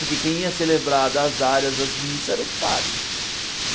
Porque quem ia celebrar das áreas, as missas, era os padres.